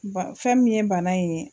Wa fɛn min ye bana in ye.